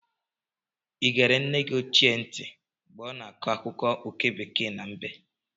Ị egere nne gị ochie ntị mgbe ọ na-akọ akụkọ oke bekee na mbe?